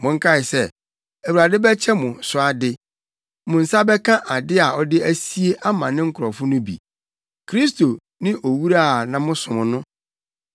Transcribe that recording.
Monkae sɛ Awurade bɛkyɛ mo so ade. Mo nsa bɛka ade a ɔde asie ama ne nkurɔfo no bi. Kristo ne owura a mosom no.